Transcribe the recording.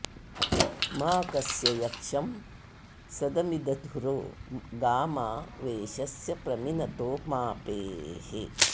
मा कस्य यक्षं सदमिद्धुरो गा मा वेशस्य प्रमिनतो मापेः